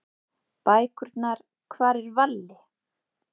Bækurnar Hvar er Valli?